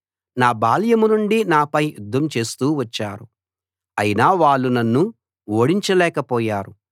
నా బాల్యం నుండి నాపై యుద్ధం చేస్తూ వచ్చారు అయినా వాళ్ళు నన్ను ఓడించలేకపోయారు